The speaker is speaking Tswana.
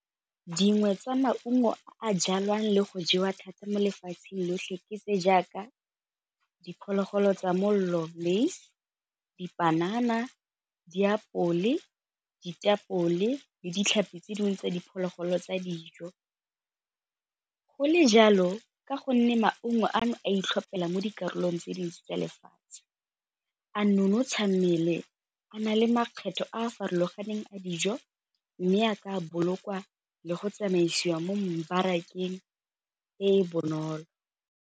Dingwe tsa maungo a jalwang le go jewa thata mo lefatsheng lotlhe ke se jaaka diphologolo tsa mollo le dipanana, diapole, ditapole le ditlhapi tse dingwe tsa diphologolo tsa dijo. Go le jalo ka gonne maungo ano a itlhopela mo dikarolong tse dintsi tsa lefatshe a nonotsha mmele a na le makgetlho a a farologaneng a dijo mme a ka bolokwa le go tsamaisiwa mo mmabarakeng e e bonolo.